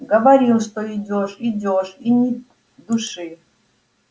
говорил что идёшь идёшь и ни души